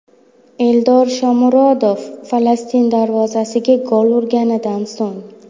Eldor Shomurodov Falastin darvozasiga gol urganidan so‘ng.